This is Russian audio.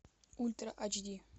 ультра айч ди